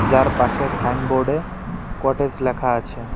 যার পাশে সাইনবোর্ডে কটেজ লেখা আছে।